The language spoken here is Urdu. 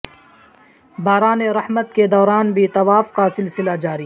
باران رحمت کے دوران بھی طواف کا سلسلہ جاری